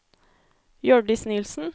Hjørdis Nilsen